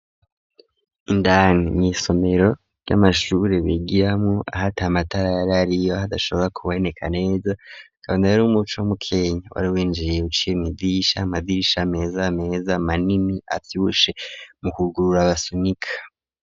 Indani mw' isomero, ry'amashuri bigiramwo ahat' amatara ariyo hadashobora kuboneka neza ,kabona rero umuco mu kenya, wari winjiye uciye mwidisha, amadisha meza meza manini avyibushe ,mu kugurura basunika.